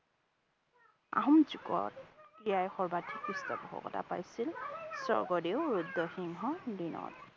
আহোম যুগত ক্ৰীড়াই সৰ্বাধিক পৃষ্ঠপোষকতা পাইছিল স্বৰ্গদেউ ৰুদ্ৰ সিংহৰ দিনত।